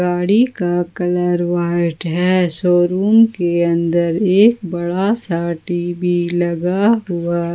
गाड़ी का colour white है शोरूम के अंदर एक बड़ा सा टी_वी लगा हुआ --